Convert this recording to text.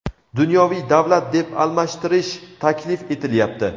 dunyoviy davlat deb almashtirish taklif etilyapti.